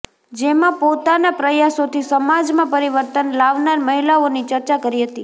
જેમાં પોતાનાં પ્રયાસોથી સમાજમાં પરિવર્તન લાવનાર મહિલાઓની ચર્ચા કરી હતી